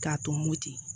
K'a tɔmoti